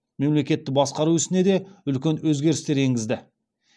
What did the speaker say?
мемлекетті басқару ісіне де үлкен өзгерістер енгізді